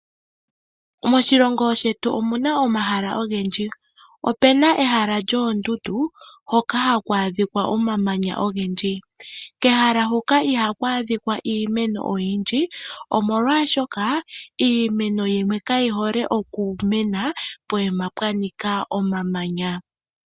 Moshilongo shetu omuna omahala ogendji. Opuna ehala lyoondundu hoka haku adhikwa omamanya ogendji. Kehala huka ihaku adhikwa iimeno oyindji, omolwaashoka kayi hole okumena pokuma pwanika omamanya.